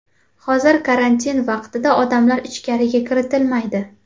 Hozir karantin vaqtida odamlar ichkariga kiritilmaydi.